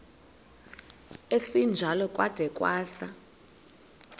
esinjalo kwada kwasa